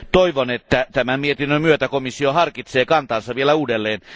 Toivon, että tämän mietinnön myötä komissio harkitsee kantaansa vielä uudelleen.